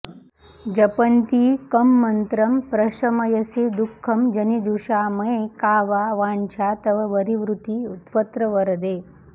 जपन्ती कं मन्त्रं प्रशमयसि दुःखं जनिजुषा मये का वा वाञ्छा तव वरिवृति त्वत्र वरदे